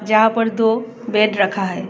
यहां पर दो बेड रखा है।